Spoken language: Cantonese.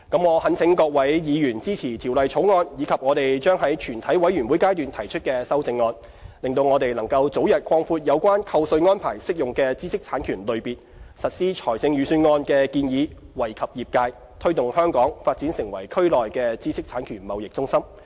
我懇請各位議員支持《條例草案》及我們將在全體委員會階段提出的修正案，讓我們能早日擴闊有關扣稅安排適用的知識產權類別，實施財政預算案的建議，惠及業界，推動香港發展成為區內的知識產權貿易中心。